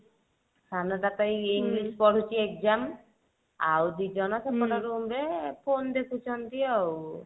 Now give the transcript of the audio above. ସାନ ଟା ତ ଏଇ ଏଇଠି ବସି ପଢୁଛି exam ଆଉ ଦି ଜଣ ସେପଟ room ରେ phone ଦେଖୁଛନ୍ତି ଆଉ